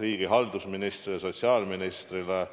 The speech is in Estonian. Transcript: riigihalduse ministrile ja sotsiaalministrile.